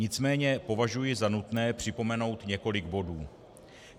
Nicméně považují za nutné připomenout několik bodů.